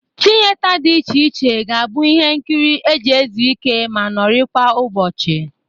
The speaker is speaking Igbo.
Tiyeta dị iche iche ga-abụ ihe nkịrị e ji ezu ike ma nọrịkwa ụbọchị